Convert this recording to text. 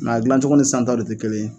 a dilancogo ni san taw de te kelen ye